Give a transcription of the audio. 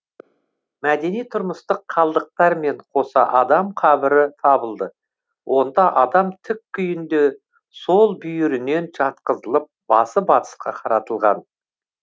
мәдени тұрмыстық қалдықтармен қоса адам қабірі табылды онда адам тік күйінде сол бүйірінен жатқызылып басы батысқа қаратылған